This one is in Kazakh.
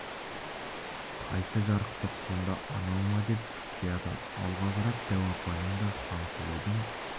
қайсы жарықтық сонда анау ма деп шұқшияды алға қарап дәу апаның да хансұлудың